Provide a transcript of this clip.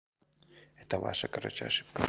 это ваша короче ошибка